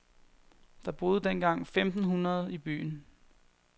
Der boede dengang femten hundrede i byen.